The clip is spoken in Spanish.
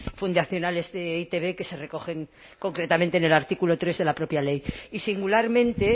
fundacionales de e i te be que se recogen concretamente en el artículo tres de la propia ley y singularmente